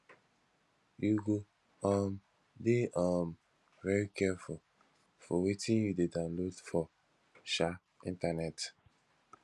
you go um dey um very careful for wetin you dey download for um internet